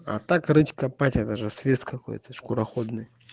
так короче копать этаже свет какой то скороходы